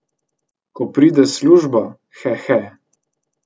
To pride s službo, hehe.